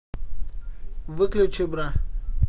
выключи бра